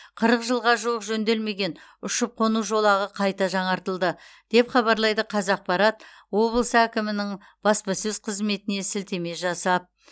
қырық жылға жуық жөнделмеген ұшып қону жолағы қайта жаңартылды деп хабарлайды қазақпарат облыс әкімінің баспасөз қызметіне сілтеме жасап